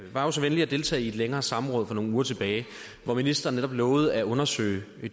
var jo så venlig at deltage i et længere samråd for nogle uger tilbage hvor ministeren netop lovede at undersøge